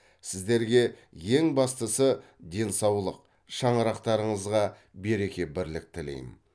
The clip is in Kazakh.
сіздерге ең бастысы денсаулық шаңырақтарыңызға береке бірлік тілеймін